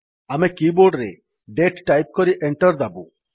ଆମେ କି ବୋର୍ଡରେ ଦାତେ ଟାଇପ୍ କରି enter ଦାବୁ